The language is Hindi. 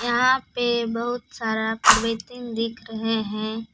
यहां पे बहुत सारा दिख रहे हैं।